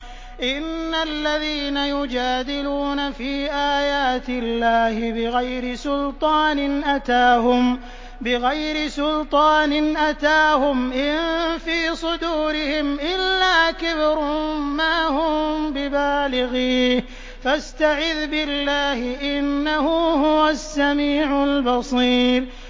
إِنَّ الَّذِينَ يُجَادِلُونَ فِي آيَاتِ اللَّهِ بِغَيْرِ سُلْطَانٍ أَتَاهُمْ ۙ إِن فِي صُدُورِهِمْ إِلَّا كِبْرٌ مَّا هُم بِبَالِغِيهِ ۚ فَاسْتَعِذْ بِاللَّهِ ۖ إِنَّهُ هُوَ السَّمِيعُ الْبَصِيرُ